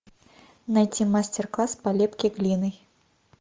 найти мастер класс по лепке глиной